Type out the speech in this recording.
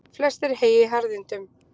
Flest er hey í harðindum.